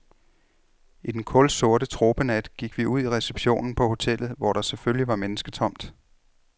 I den kulsorte tropenat gik vi ud i receptionen på hotellet, hvor der selvfølgelig var mennesketomt.